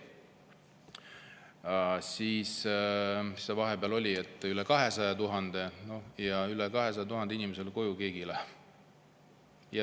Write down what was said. Vahepeal oli üle 200 000 ja rohkem kui 200 000 inimesele koju keegi ei lähe.